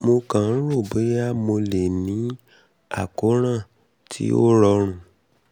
mo kàn ń rò ó bóyá mo lè um ní um àkóràn um tí ó rọrùn